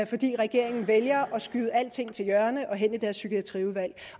fordi regeringen vælger at skyde alting til hjørne og hen i deres psykiatriudvalg